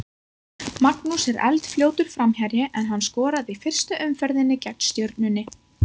Magnús er eldfljótur framherji en hann skoraði í fyrstu umferðinni gegn Stjörnunni.